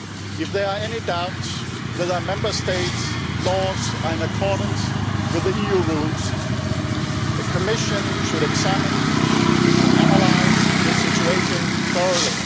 If there are any doubts whether a Member State's laws are in accordance with the EU rules, the Commission should examine and analyse the situation thoroughly.